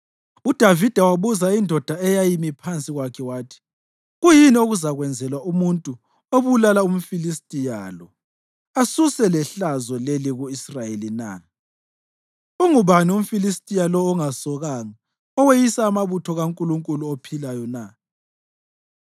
UDavida wabuza indoda eyayimi phansi kwakhe wathi, “Kuyini okuzakwenzelwa umuntu obulala umFilistiya lo asuse lehlazo leli ku-Israyeli na? Ungubani umFilistiya lo ongasokanga oweyisa amabutho kaNkulunkulu ophilayo na?”